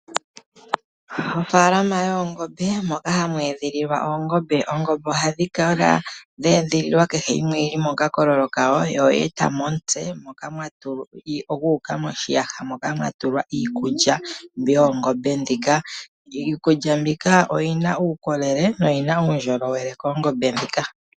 Ofaalama yoongombe moka hamu edhililwa oongombe, oongombe ohadhi kala dhe edhililwa kehe yimwe oyili mokakololo kayo, yo oye eta mo omutse, gu uka moshiyaha moka mwa tulwa iikulya, mbi yoongombe ndhika. Iikulya mbika oyina uukolele noyina uundjolowele koongombe ndhika.